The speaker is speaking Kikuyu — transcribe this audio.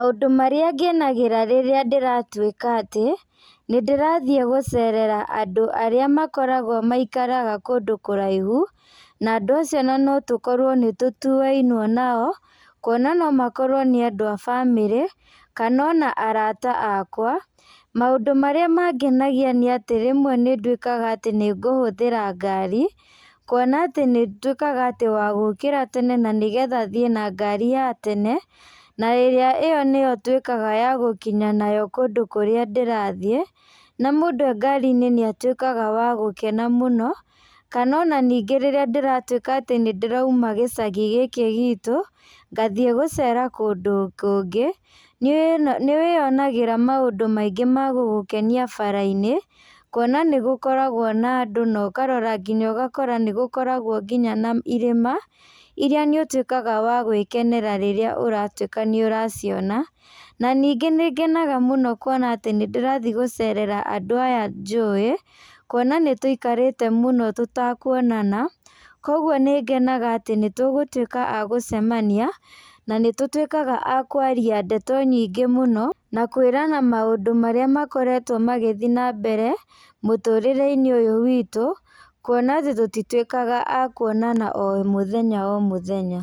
Maũndũ marĩa ngenagĩra rĩrĩa ndĩratuĩka atĩ nĩndĩrathiĩ gũcerera andũ arĩa makoragwo maikaraga kũndũ kũraihu, na andũ acio ona notũkorwo nĩtũtuainwo nao, kuona no makorwo nĩ andũ a bamĩrĩ kana ona arata akwa maũndũ marĩa mangenagia nĩatĩ rĩmwe nĩnduĩkaga atĩ nĩngũhũthĩra ngari, kuona atĩ nĩnduĩkaga atĩ wa gũkĩra tena na nĩgetha thiĩ na ngari ya tene, na ĩrĩa ĩyo nĩyo nduĩkaga wa gũkinya nayo kũndũ kũrĩa ndĩrathiĩ, na mũndũ e ngari-inĩ nĩatuĩkaga wa gũkena mũno, kana ona ningĩ rĩrĩa ndĩratuĩka atĩ nĩndĩrauma gĩcagi gĩkĩ gitũ, ngathiĩ gũcera kũndũ kũngĩ nĩwĩyonagĩra maĩndũ maingĩ ma gũgũkenia barabara-inĩ, kuona nĩgũkoragwo na andũ na ũkarora kinya ũgakora nĩgũkoragwo kinya na irĩma, iria nĩũtuĩkaga wa gwĩkenera rĩrĩa ũratuĩka nĩũraciona, na ningĩ nĩngenaga mũno kuona atĩ nĩndĩrathiĩ gũcerera andũ aya njũĩ, kuona nĩtũikarĩte mũno tũtakuonana, kuoguo nĩngenaga atĩ nĩtũgũtuĩka a gũcemania, na nĩtũtuĩkaga a kwaria ndeto nyingĩ mũno na kwĩrana maũndũ marĩa makoretwo magĩthiĩ na mbere mũtũrĩre-inĩ ũyũ witũ, kuona atĩ tũtituĩkaga a kuonana o mũthenya o mũthenya.